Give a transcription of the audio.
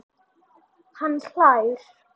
Hann hlær.